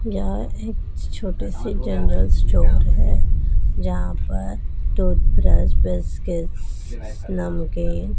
यहां एक छोटा से जनरल स्टोर है जहां पर टुथब्रश बिस्किट नमकीन--